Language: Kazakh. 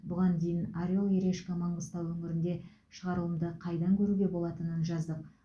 бұған дейін орел и решка маңғыстау өңірінде шығарылымды қайдан көруге болатынын жаздық